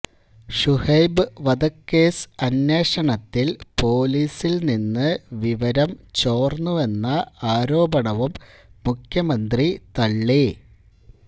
ഷുഹൈബ് വധക്കേസ് അന്വേഷണത്തില് പോലീസില് നിന്ന് വിവരം ചോര്ന്നുവെന്ന ആരോപണവും മുഖ്യമന്ത്രി തള്ളി